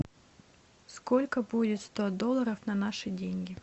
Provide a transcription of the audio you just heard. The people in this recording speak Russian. сколько будет сто долларов на наши деньги